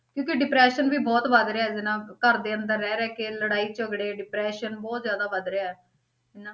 ਕਿਉਂਕਿ depression ਵੀ ਬਹੁਤ ਵੱਧ ਰਿਹਾ ਇਹਦੇ ਨਾਲ, ਘਰ ਦੇ ਅੰਦਰ ਰਹਿ ਰਹਿ ਕੇ ਲੜਾਈ ਝਗੜੇ depression ਬਹੁਤ ਜ਼ਿਆਦਾ ਵੱਧ ਰਿਹਾ ਹੈ ਹਨਾ।